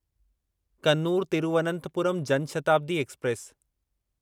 Kannur Thiruvananthapuram Jan Shatabdi express